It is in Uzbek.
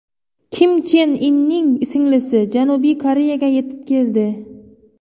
Kim Chen Inning singlisi Janubiy Koreyaga yetib keldi.